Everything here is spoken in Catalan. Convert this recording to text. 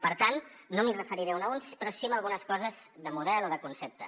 per tant no m’hi referiré una a una però sí a algunes coses de model o de concepte